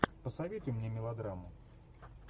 посоветуй мне мелодраму